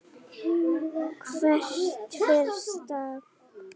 Hvert fer Stam?